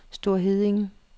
Store Heddinge